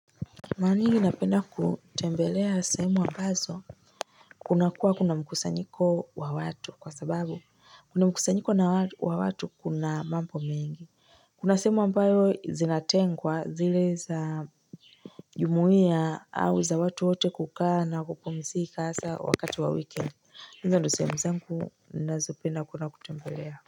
Maranyingi napenda kutembelea sehemu ambazo kuna kuwa kuna mkusanyiko wa watu kwasababu kwenye mkusanyiko wa watu kuna mambo mengi. Kuna sehemu ambayo zinatengwa zile za jumuiya au za watu wote kukaa na kupumizika hasa wakati wa wikiendi hizo ndio sehemu zengu nazopenda kwenda kutembelea.